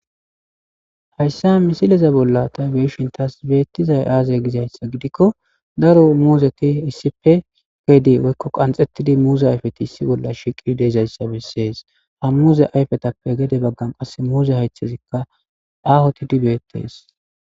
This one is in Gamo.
Hayssa misileza bolla tabeshin taas beettizay aazey gizayssa gidikko daro muuzeti issipe gedi woykko qanxettidi muuze ayfeti issi bolla shiqi deezayssa bessees ha muuze ayfetappe gede baggan qass muuze haythezikka ahotidi beettees.